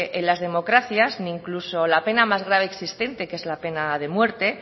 en las democracias incluso la pena más grave existente que es la pena de muerte